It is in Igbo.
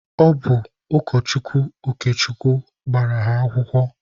Ọ bụ ụkọchukwu Okechukwu gbara ha akwụkwọ.